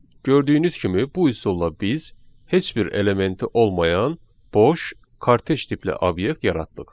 Gördüyünüz kimi bu üsulla biz heç bir elementi olmayan boş kortec tipli obyekt yaratdıq.